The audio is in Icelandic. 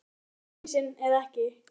Er þetta brottvísun eða ekki?